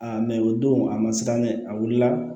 mɛ o don a ma siran dɛ a wulila